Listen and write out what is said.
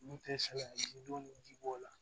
N'u tɛ sɛgɛn ji don ji b'o la